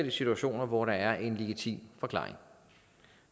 i situationer hvor der er en legitim forklaring